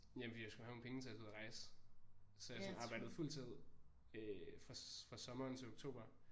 Jamen fordi jeg skulle have nogle penge til at tage ud og rejse så jeg sådan arbejde fuld tid øh fra fra sommeren til oktober